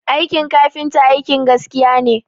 Aikin kafinta aikin gaskiya ne